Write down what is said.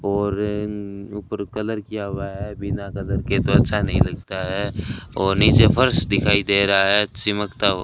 और ऊपर कलर किया हुआ है बिना कलर के तो अच्छा नहीं लगता है और नीचे फर्श दिखाई दे रहा है चिमकता हुआ --